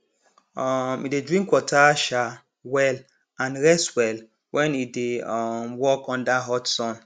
um e dey drink water um well and rest well when e dey um work under hot sun